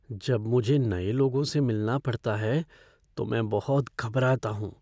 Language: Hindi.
जब मुझे नए लोगों से मिलना पड़ता है तो मैं बहुत घबराता हूँ।